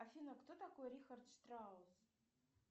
афина кто такой рихард штраус